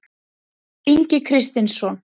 Hörður Ingi Kristinsson